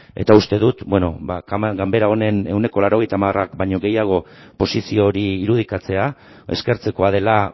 eta uste dut ganbera honen ehuneko laurogeita hamarrak baino gehiago posizio hori irudikatzea eskertzekoa dela